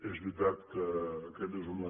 és veritat que aquesta és una